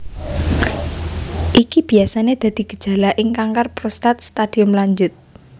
Iki biyasané dadi gejala ing kanker prostat stadium lanjut